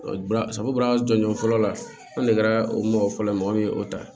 jɔnjɔn fɔlɔ la an degɛrɛ o mɔgɔ fɔlɔ mɔgɔ min ye o ta